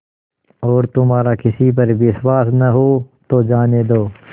और तुम्हारा किसी पर विश्वास न हो तो जाने दो